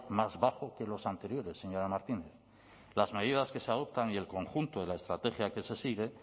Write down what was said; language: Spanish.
más bajo que los anteriores señora martínez las medidas que se adoptan y el conjunto de la estrategia que se sigue